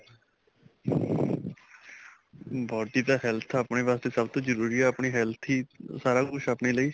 body ਤਾਂ health ਆਪਣੇ ਵਾਸਤੇ ਸਭ ਤੋ ਜਰੂਰੀ ਹੈ ਆਪਣੀ health ਹੀ ਸਾਰਾ ਕੁੱਛ ਆ ਆਪਣੇ ਲਈ